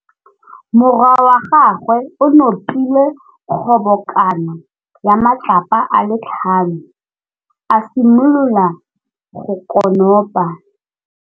Morwa wa gagwe o nopile kgobokanô ya matlapa a le tlhano, a simolola go konopa.